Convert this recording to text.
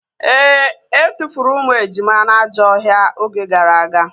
Ee, etufuru ụmụ ejima na ajọ ọhịa oge gara aga